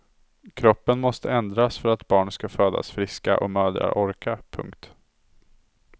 Kroppen måste ändras för att barn skall födas friska och mödrar orka. punkt